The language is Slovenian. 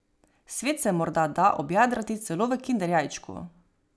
Svet se morda da objadrati celo v kinder jajčku.